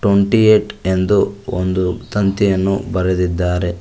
Twenty eight ಎಂದು ಒಂದು ತಂತಿಯನ್ನು ಬರೆದಿದ್ದಾರೆ.